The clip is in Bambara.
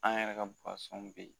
An yɛrɛ ka bɛ yen